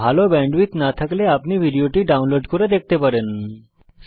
ভাল ব্যান্ডউইডথ না থাকলে আপনি ভিডিওটি ডাউনলোড করে দেখতে পারেন